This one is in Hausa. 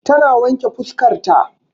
Ta na wanke fuskar ta